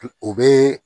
O bɛ